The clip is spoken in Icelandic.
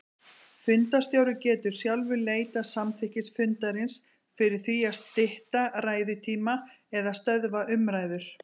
Fundarstjóri getur sjálfur leitað samþykkis fundarins fyrir því að stytta ræðutíma eða stöðva umræður.